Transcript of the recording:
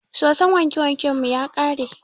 Soson wanke wanken mu ya ƙare.